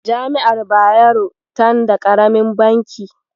Jami'ar Bayero tan da ƙaramin banki.